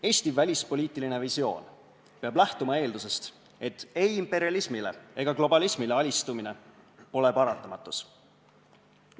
Eesti välispoliitiline visioon peab lähtuma eeldusest, et ei imperialismile ega globalismile alistumine pole paratamatus.